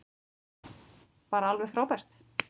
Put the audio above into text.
Bara alveg frábært.